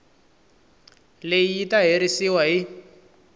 leyi yi ta herisiwa hi